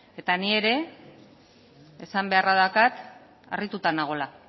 eta ni ere esan beharra daukat harrituta nagoela